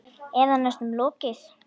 Eða næstum lokið.